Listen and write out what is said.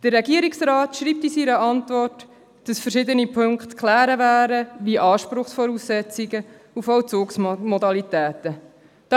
Der Regierungsrat schreibt in seiner Antwort, dass verschiedene Punkte wie Anspruchsvoraussetzungen und Vollzugsmodalitäten zu klären wären.